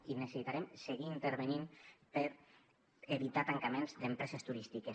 i necessitarem seguir intervenint per evitar tancaments d’empreses turístiques